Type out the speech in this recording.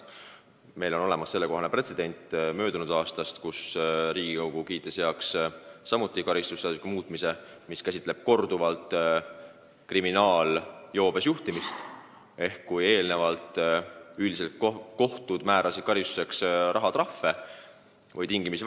Meil on olemas sellekohane pretsedent möödunud aastast: Riigikogu kiitis heaks karistusseadustiku muutmise nii, et korduvalt kriminaaljoobes juhtimise eest on minimaalne karistus 30 päeva šokivangistust.